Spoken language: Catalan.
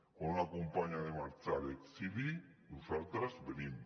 quan una companya ha de marxar a l’exili nosaltres venim